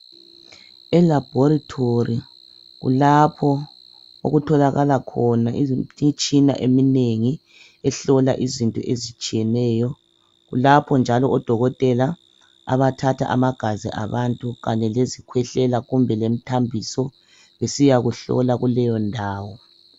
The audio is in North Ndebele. Elabhorithori kulapho okutholakala khona izi imtshina eminengi ehlola izinto ezitshiyeneyo kulapho njalo odokotela abathatha amagazi abantu kanye lezikhwehlela kumbe lemithambiso besiyakuhlolwa kuleyondawo.